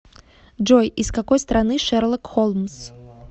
джой из какой страны шерлок холмс